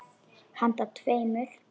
Handa tveimur